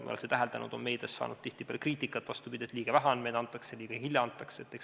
Nagu te olete täheldanud, on meedias saanud tihtipeale kriitikat see, et andmeid antakse liiga vähe ja liiga hilja.